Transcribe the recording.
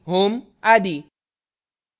* home आदि